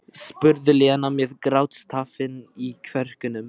spurði Lena með grátstafinn í kverkunum.